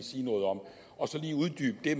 de